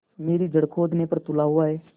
मेरी जड़ खोदने पर तुला हुआ है